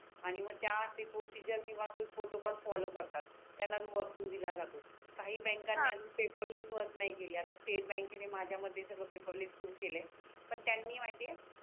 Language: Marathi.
आणि मग त्या ते प्रोसेझर किवा तो प्रोटोकॉल फॉलो करतात त्यांना जो वरतून दिला जातो काही बँक णी हा अजून पेपरलेस वर्क नाही केल्या तर स्टेट बँक णे माझ्या मते सगड पेपरलेस सुरू केले आहे पण त्यांनी माहिती आहे